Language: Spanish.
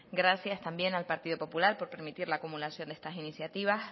gracias también al partido popular por permitir la acumulación de estas iniciativas